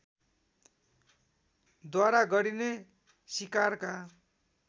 द्वारा गरिने सिकारका